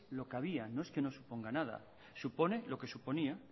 lo que había no es que no suponga nada supone lo que suponía